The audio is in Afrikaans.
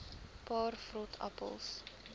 paar vrot appels